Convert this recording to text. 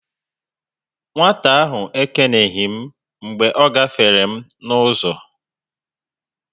Nwata ahụ ekeneghi m mgbe ọ gáfèrè m n'uzo